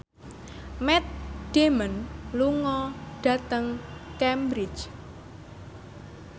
Matt Damon lunga dhateng Cambridge